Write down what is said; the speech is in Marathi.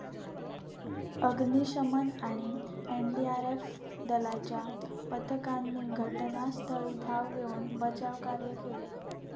अग्निशमन आणि एनडीआरएफ दलाच्या पथकांनी घटनास्थळी धाव घेऊन बचावकार्य केले.